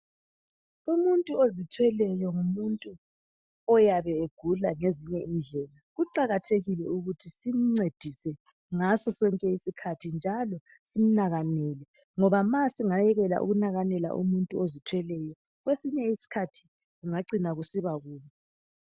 Umuntu ozithweleyo ngumuntu oyabe egula ezinye indlela kuqakathekile ukuthi simncedise ngaso sonke isikhathi njalo simnakakele ngoba nxa singekela ukumnakakela umuntu ozithweleyo kwesinye isikhathi kungacina kusiba kubi